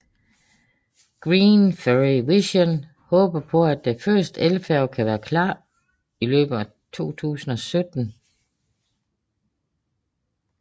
Green Ferry Vision håber at den første elfærge kan være klar i løbet af 2017